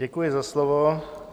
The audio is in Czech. Děkuji za slovo.